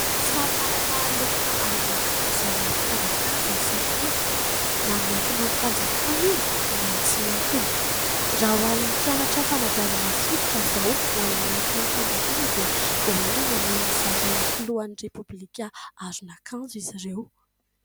Samy manana lokona aron'akanjo izay mampiavaka azy ny sekoly, na ny miankina amin'ny fanjakana io na ny tsy miankina. Raha ho an'ny mpianatra fanabeazana fototra izao ho an'ny miankina amin'ny fanjakana dia vao aingana no nizaran'ny Filohan'i Repoblika aron'akanjo izy ireo.